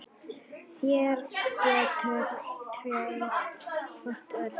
Þeir gátu treyst hvor öðrum.